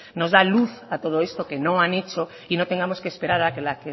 nos da luz a todo esto que no han hecho y no tengamos que esperar a que